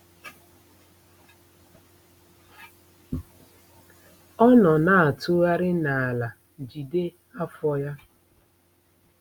Ọ nọ na-atụgharị n'ala jide afọ ya.